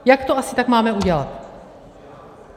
Jak to asi tak máme udělat?